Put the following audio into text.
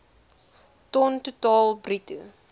ton totaal bruto